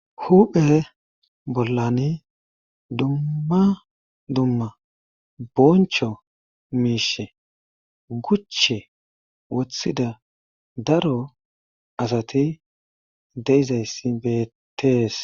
huphphe bollanii dumma dumma bonchcho miishe guche woththida daro asati de'izayssi bettees